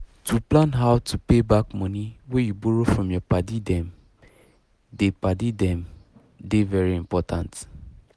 to plan how to pay back money wey you borrow from your padi dem dey padi dem dey very important